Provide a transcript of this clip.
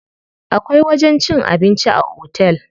Akwai wajen cin abinci a otel.